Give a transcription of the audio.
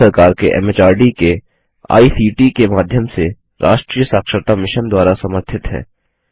भारत सरकार के एमएचआरडी के आईसीटी के माध्यम से राष्ट्रीय साक्षरता मिशन द्वारा समर्थित है